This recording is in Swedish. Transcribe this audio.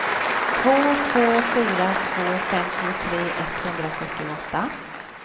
två två fyra två femtiotre etthundrafyrtioåtta